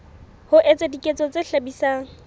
ho etsa diketso tse hlabisang